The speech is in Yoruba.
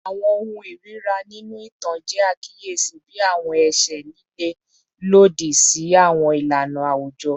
Awọn ohun irira ninu itan jẹ akiyesi bi awọn ẹṣẹ lile lodi si awọn ilana awujọ